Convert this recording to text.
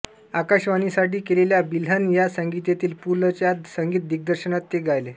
आकाशवाणी साठी केलेल्या बिल्हण या संगीतिकेत पु लं च्या संगीत दिग्दर्शनात ते गायले